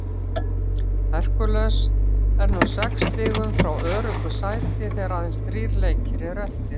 Hercules er nú sex stigum frá öruggu sæti þegar aðeins þrír leikir eru eftir.